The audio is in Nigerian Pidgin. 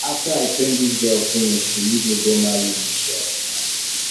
after i train dis girl finish she leave me go marry rich um man